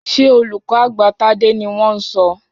Ṣé olùkọ́ àgbà Tádé ni wọ́n ń sọ?